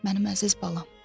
Mənim əziz balam.